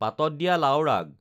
পাতত দিয়া লাওৰ আগ